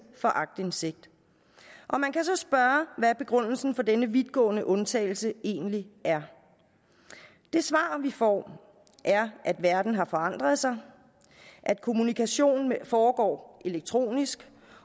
fra aktindsigt og man kan så spørge hvad begrundelsen for denne vidtgående undtagelse egentlig er det svar vi får er at verden har forandret sig at kommunikation foregår elektronisk